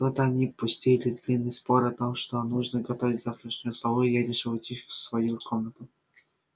тут они пустились в длинный спор о том что нужно готовить к завтрашнему столу и я решила уйти в свою комнату